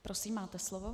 Prosím, máte slovo.